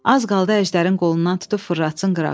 Az qaldı əjdərin qolundan tutub fırlatsın qırağa.